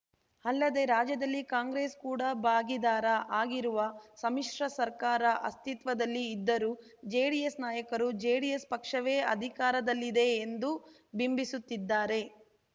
ಅಲ್ಲದೆ ರಾಜ್ಯದಲ್ಲಿ ಕಾಂಗ್ರೆಸ್‌ ಕೂಡ ಭಾಗಿದಾರ ಆಗಿರುವ ಸಮ್ಮಿಶ್ರ ಸರ್ಕಾರ ಅಸ್ತಿತ್ವದಲ್ಲಿ ಇದ್ದರೂ ಜೆಡಿಎಸ್‌ ನಾಯಕರು ಜೆಡಿಎಸ್‌ ಪಕ್ಷವೇ ಅಧಿಕಾರದಲ್ಲಿದೆ ಎಂದು ಬಿಂಬಿಸುತ್ತಿದ್ದಾರೆ